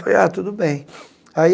Falei ah tudo bem. Aí